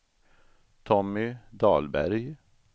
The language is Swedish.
Tommy Dahlberg